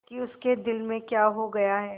कि उसके दिल में क्या हो गया है